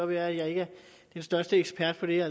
være at jeg ikke er den største ekspert på det her